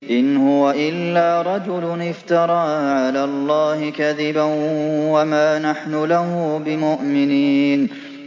إِنْ هُوَ إِلَّا رَجُلٌ افْتَرَىٰ عَلَى اللَّهِ كَذِبًا وَمَا نَحْنُ لَهُ بِمُؤْمِنِينَ